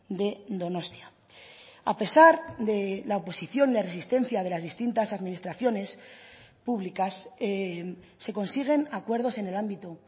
de donostia a pesar de la oposición de resistencia de las distintas administraciones públicas se consiguen acuerdos en el ámbito